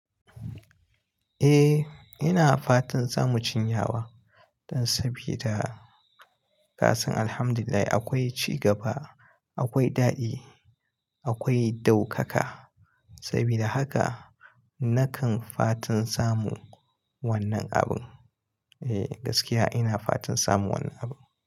Eh ina fatan zamu cinya wa, don sabida kasan Alhamdulillah akwai cigaba, akwai daɗi, akwai daukaka. Sabida haka nakan fatan samu wannan abin. Eh gaskiya ina fatan samu wannan abin.